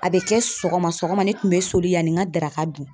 A bɛ kɛ sɔgɔma sɔgɔma ne tun bɛ soli yani n ka daraka dun.